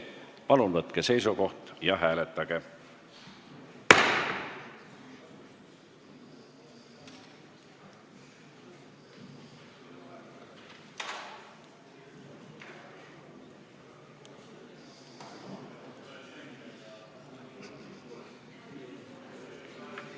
Palun võtke seisukoht ja hääletage!